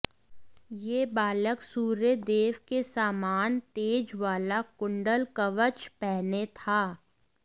यह बालक सूर्यदेव के सामान तेज वाला कुंडल कवच पहने था